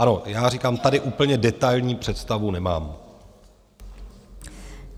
Ano, já říkám, tady úplně detailní představu nemám.